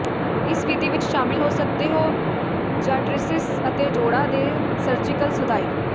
ਇਸ ਵਿਧੀ ਵਿੱਚ ਸ਼ਾਮਲ ਹੋ ਸਕਦੇ ਹੋ ਜਾਂਟ੍ਰੀਸਿਸ ਅਤੇ ਜੋੜਾਂ ਦੇ ਸਰਜੀਕਲ ਸੁਧਾਈ